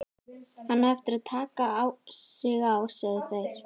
Hann á eftir að taka sig á, sögðu þær.